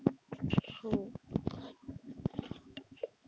हो.